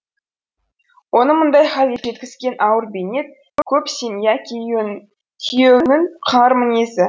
оны мұндай халге жеткізген ауыр бейнет көп семья күйеуінің қыңыр мінезі